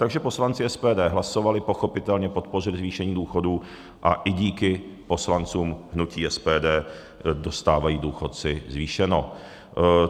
Takže poslanci SPD hlasovali pochopitelně podpořit zvýšení důchodů a i díky poslancům hnutí SPD dostávají důchodci zvýšeno.